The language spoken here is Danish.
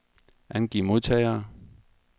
Angiv modtagere.